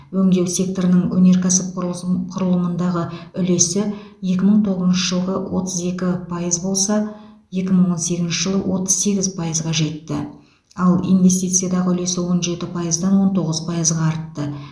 өңдеу секторының өнеркәсіп құрылысын құрылымындағы үлесі екі мың тоғызыншы жылғы отыз екі пайыз болса екі мың он сегізінші жылы отыз сегіз пайызға жетті ал инвестициядағы үлесі он жеті пайыздан он тоғыз пайызға артты